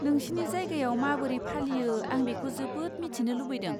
नोंसिनि जायगायाव माबोरै फालियो आं बेखौ जोबोद मिथिनो लुबैदों।